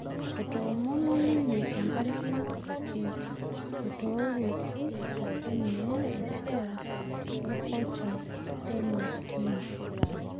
Etoomonuo ninye empalikino kake etooruwuoki ake ninye esiai orkocha teina tim